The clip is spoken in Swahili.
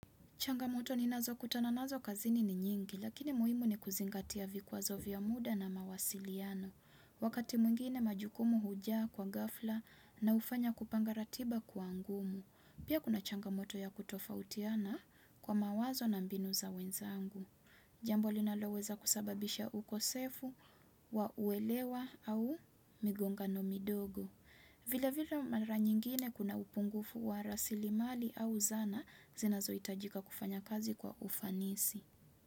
Changamoto ninazokutana nazo kazini ni nyingi, lakini muhimu ni kuzingatia vikwazo vya muda na mawasiliano. Wakati mwingine majukumu hujaa kwa ghafla na hufanya kupanga ratiba kuwa ngumu. Pia kuna changamoto ya kutofautiana kwa mawazo na mbinu za wenzangu. Jambo linaloweza kusababisha ukosefu wa uelewa au migongano midogo. Vile vile mara nyingine kuna upungufu wa rasilimali au zana zinazoitajika kufanya kazi kwa ufanisi.